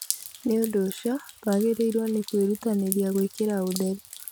Nĩ ũndũ ũcio, twagĩrĩirũo nĩ kwĩrutanĩria gũikĩriĩra ũtheru.